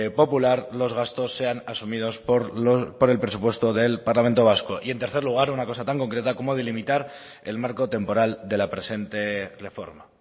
popular los gastos sean asumidos por el presupuesto del parlamento vasco y en tercer lugar una cosa tan concreta como delimitar el marco temporal de la presente reforma